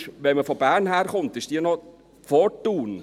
wenn man von Bern her kommt, ist diese noch vor Thun.